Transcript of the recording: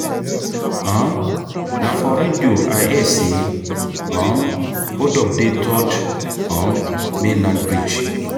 um Na for radio I hear sey um hold-up dey third um mainland bridge.